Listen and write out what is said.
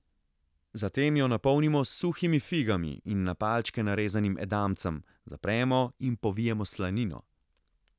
Zatem jo napolnimo s suhimi figami in na palčke narezanim edamcem, zapremo in povijemo s slanino.